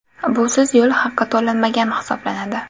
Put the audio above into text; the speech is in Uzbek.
Busiz yo‘l haqi to‘lanmagan hisoblanadi.